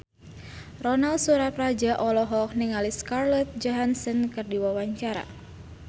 Ronal Surapradja olohok ningali Scarlett Johansson keur diwawancara